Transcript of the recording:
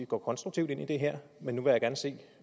går konstruktivt ind i det her men